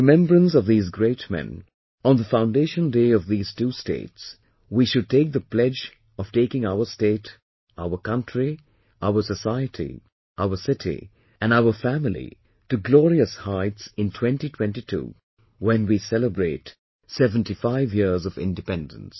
In remembrance of these great men, on the foundation day of these two states, we should take the pledge of taking our state, our country, our society, our city, and our family to glorious heights in 2022, when we celebrate 75 years of independence